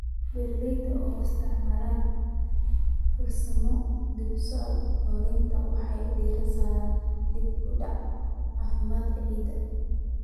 Beeralayda oo isticmaalaya farsamooyinka dib-u-soo-noolaynta waxay diiradda saaraan dib-u-dhiska caafimaadka ciidda.